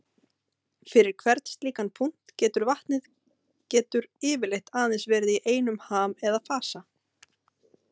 Fyrir hvern slíkan punkt getur vatnið getur yfirleitt aðeins verið í einum ham eða fasa.